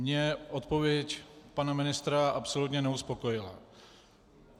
Mě odpověď pana ministra absolutně neuspokojila.